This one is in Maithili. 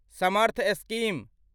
समर्थ स्कीम